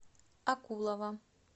акулова